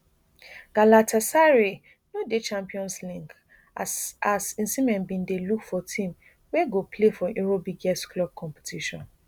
galatasaray no dey champions league as as osimhen bin dey look for team wey go play for europe biggest club competition